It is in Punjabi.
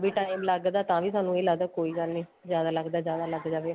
ਵੀ time ਲਗਦਾ ਤਾਂ ਵੀ ਸਾਨੂੰ ਕੋਈ ਗੱਲ ਨੀਂ ਜਿਆਦਾ ਲਗਦਾ ਜਿਆਦਾ ਲੱਗ ਜਾਵੇ